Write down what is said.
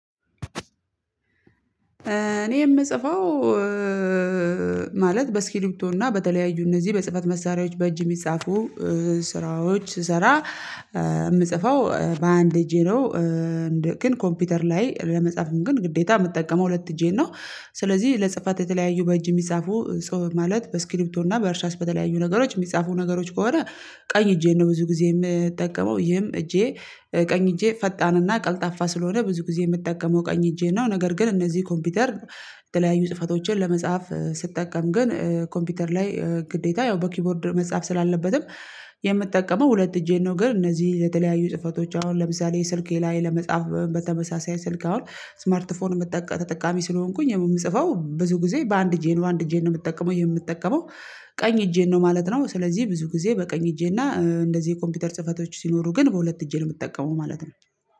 እኔ የምጽፈው ማለት በእስክሪፕቶ እና በተለያዩ እነዚህ በጽህፈት መሳሪያዎች በእጅ የሚጻፉ ስራዎች ስሰራ የምጽፈው በአንድ እጄ ነው። ግን ኮምፒውተር ላይ ለመጻፍም ግን ግዴታ የምጠቀመው ሁለት እጄን ነው። ስለዚህ ለጽፈት የተለያዩ በእጅ የሚጻፉ ጽሁፍ ማለት በስክሪፕቶ እና በእርሳስ በተለያዩ ነገሮች የሚጻፉ ነገሮች ከሆነ ቀኝ እጄን ነው ብዙ ጊዜ የምጠቀመው። ይህም እጄ ቀኝ እጄ ፈጣንና ቀልጣፋ ስለሆነ ብዙ ጊዜ የምጠቀመው ቀኝ እጄን ነው። ነገር ግን እነዚህ ኮምፒውተር የተለያዩ ጽሁፈቶችን ለመጻፍ ስጠቀም ግን ኮምፒውተር ላይ ግዴታ ያው በኪቦርድ መጻፍ ስላለበትም የምጠቀመው ሁለት እጄን ነው ግን እነዚህ የተለያዩ ጽህፈቶች አሁን ለምሳሌ ስልኬ ላይ ለመጻፍ በተመሳሳይ ስልክ አሁን 'እስማርት ፎን' ተጠቃሚ ስለሆንኩኝ የምጽፈው ብዙ ጊዜ በአንድ እጄ ነው። አንድ እጄን ነው የምጠቀመው። የምጠቀመው ቀኝ እጄን ነው ማለት ነው። ስለዚህ ብዙ ጊዜ በቀኝ እጄና እንደዚህ የኮምፒውተር ጽህፈቶች ሲኖሩ ግን በሁለት እጄ ነው የምጠቀመው ማለት ነው።